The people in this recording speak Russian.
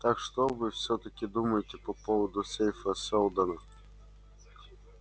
так что же вы всё-таки думаете по поводу сейфа сэлдона